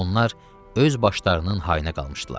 Onlar öz başlarının hayına qalmışdılar.